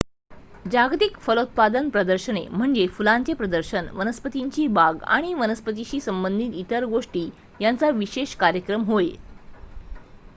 जागतिक फलोत्पादन प्रदर्शने म्हणजे फुलांचे प्रदर्शन वनस्पतींची बाग आणि वनस्पतींशी संबंधित इतर गोष्टी यांचा विशेष कार्यक्रम होय